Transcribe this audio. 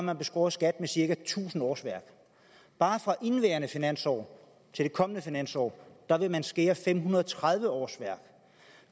har beskåret skat med cirka tusind årsværk bare fra indeværende finansår til det kommende finansår vil man skære fem hundrede og tredive årsværk